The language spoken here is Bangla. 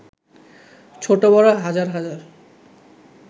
ছোট-বড় হাজার হাজার